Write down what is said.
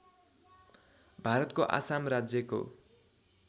भारतको आसाम राज्यको